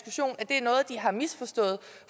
jeg har misforstået